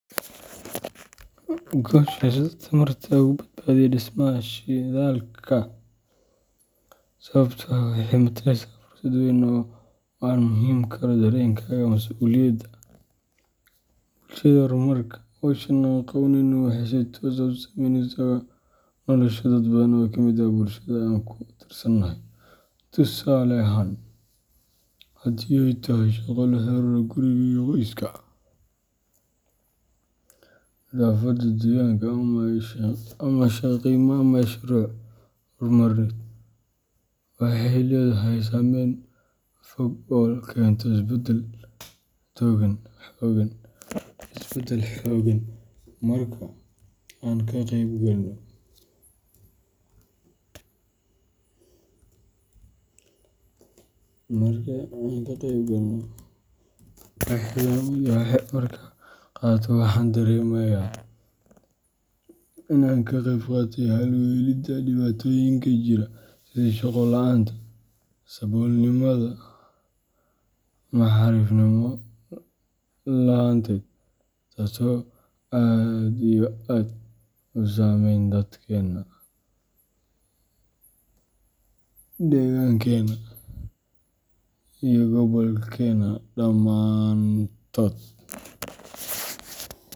Gosashada tamarta uga badbadiyo dhismista shidalksa sababtoo ah waxay mataleysaa fursad weyn oo aan ku muujin karo dareenkayga mas’uuliyadda, bulshada iyo horumarka. Hawsha aan qabaneyno waxay si toos ah u saameyneysaa nolosha dad badan oo ka mid ah bulshada aan ka tirsanahay. Tusaale ahaan, haddii ay tahay shaqo la xiriirta quriga iyo qoyska, nadaafadda deegaanka, ama ka shaqeynta mashaariic horumarineed, waxay leedahay saameyn fog oo keenta isbedde hogan. Marka aan ka qeyb qaato, waxaan dareemayaa in aan qayb ka ahay xal u helidda dhibaatooyinka jira sida shaqo la’aanta, saboolnimada, ama xarifnima laanta, tasoo aad iyo aad u sameynesa dadkena, degankena iyo gobolkena.